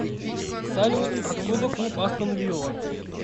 салют откуда клуб астон вилла